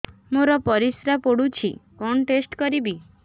ମୋର ପରିସ୍ରା ପୋଡୁଛି କଣ ଟେଷ୍ଟ କରିବି